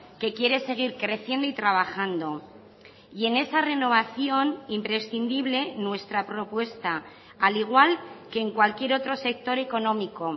que quiere seguir creciendo y trabajando y en esa renovación imprescindible nuestra propuesta al igual que en cualquier otro sector económico